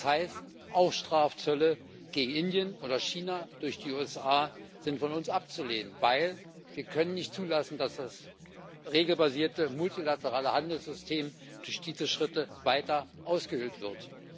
Das heißt auch, Strafzölle gegen Indien oder China durch die USA sind von uns abzulehnen, denn wir können nicht zulassen, dass das regelbasierte multilaterale Handelssystem durch diese Schritte weiter ausgehöhlt wird.